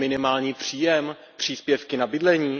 minimální příjem, příspěvky na bydlení?